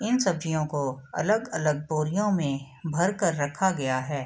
इन सब्जियों को अलग-अलग बोरियों में भर कर रखा गया है।